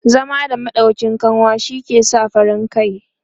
zama da maɗauƙin kanwa shi ke sa farin kai